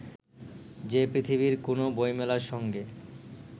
যে পৃথিবীর কোনও বইমেলার সঙ্গে